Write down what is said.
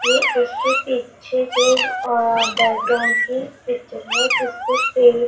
ये इसके पीछे जो अ बैकग्राउंड की पिक्चर है जिसपे पेड़--